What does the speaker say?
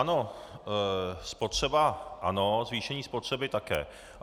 Ano, spotřeba ano, zvýšení spotřeby také.